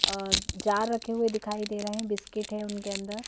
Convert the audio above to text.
और जार रखे हुए दिखाई दे रहे हैं बिस्किट है उनके अंदर।